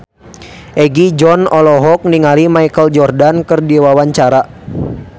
Egi John olohok ningali Michael Jordan keur diwawancara